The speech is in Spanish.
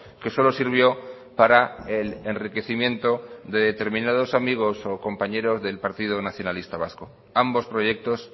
que solo sirvió para el enriquecimiento de determinados amigos o compañeros del partido nacionalista vasco ambos proyectos